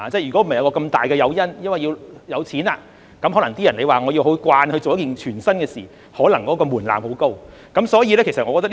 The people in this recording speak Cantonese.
如果不是有這麼大的誘因，即是金錢，要某些人習慣做一件全新的事情，門檻可能十分高。